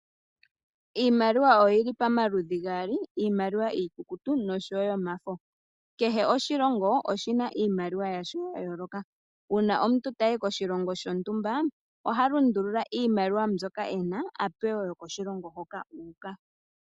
Iimaliwa oyili pamaludhi gaali, iimaliwa iikukutu nosho wo yomafo. Kehe oshilongo oshi na iimaliwa yasho ya yooloka. Uuna omuntu ta yi koshilongo shontumba oha lundulula iimaliwa mbyoka e na a pewe yokoshilongo hoka u uka.